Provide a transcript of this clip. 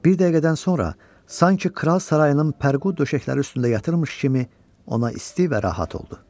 Bir dəqiqədən sonra sanki kral sarayının pərqu döşəkləri üstündə yatırmış kimi ona isti və rahat oldu.